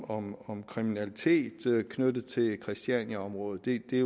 om om kriminalitet knyttet til christianiaområdet det er